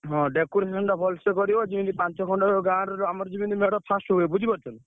ହଁ decoration ଟା ଭଲସେ କରିବ ଯେମିତି ପାଞ୍ଚ ଖଣ୍ଡ ଗାଁରୁ ଆମର ଯେମିତି ମେଢ first ହୁଏ ବୁଝିପାରୁଛ ନା?